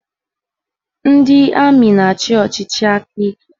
Ndị amị na-achị ọchịchị aka ike